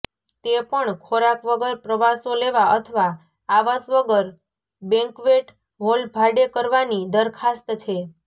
તે પણ ખોરાક વગર પ્રવાસો લેવા અથવા આવાસ વગર બેન્ક્વેટ હોલ ભાડે કરવાની દરખાસ્ત છે